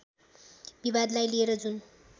विवादलाई लिएर जुन